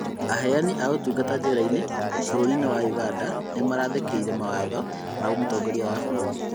Aheani a ũtungata njera-inĩ bũrũri wa Ũganda nĩmaraathĩkĩire mawatho ma mutongoria wa bũrũri